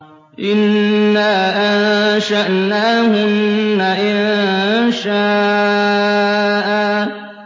إِنَّا أَنشَأْنَاهُنَّ إِنشَاءً